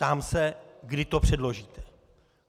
Ptám se, kdy to předložíte.